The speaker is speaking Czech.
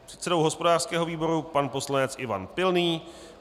předsedou hospodářského výboru pan poslanec Ivan Pilný,